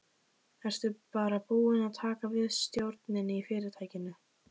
Ertu bara búin að taka við stjórninni í fyrirtækinu?